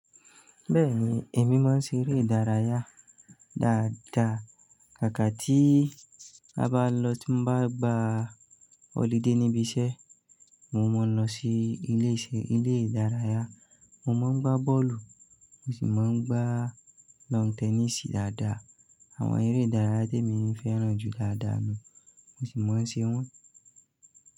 Bẹ́ẹ̀ni, èmi máa ń ṣe eré ìdárayá dáadáa. Kàkà ti i a ba lo, ti mo ba gba holiday níbi iṣẹ́, mon ma n lo si ilé iṣẹ́, ilé ìdárayá. Mo máa ń gbá bọ́ọ̀lù, mo sì máa ń gbá lawn tennis dáadáa. Àwọn eré ìdárayá tí èmi n fẹ́ràn jù dáadáa ni, mo sì máa ń ṣe wọ́n.